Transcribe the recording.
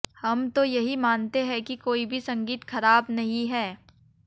हम तो यही मानते हैं कि कोई भी संगीत खराब नहीं है